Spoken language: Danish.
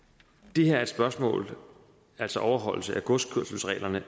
det her spørgsmål altså om overholdelse af godskørselsreglerne